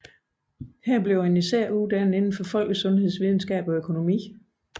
Her uddannes primært indenfor folkesundhedsvidenskab og økonomi